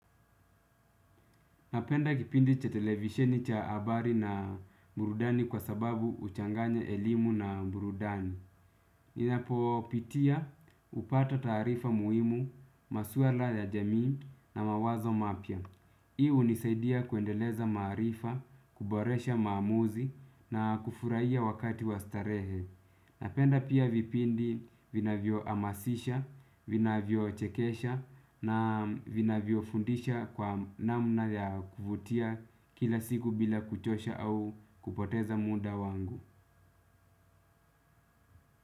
Napenda kipindi cha televisheni cha habari na burudani kwa sababu huchanganya elimu na burudani. Ninapo pitia hupata taarifa muhimu, masuala ya jamii na mawazo mapya. Hii hunisaidia kuendeleza maarifa, kuboresha maamuzi na kufurahia wakati wa starehe. Napenda pia vipindi vinavyo hamasisha, vinavyo chekesha na vinavyo fundisha kwa namna ya kuvutia kila siku bila kuchosha au kupoteza muda wangu.